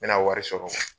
N mɛna wari sɔrɔ